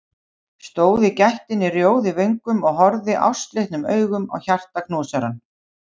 Stóð í gættinni rjóð í vöngum og horfði ástleitnum augum á hjartaknúsarann.